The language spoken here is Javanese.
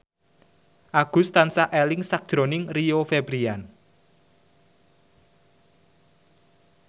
Agus tansah eling sakjroning Rio Febrian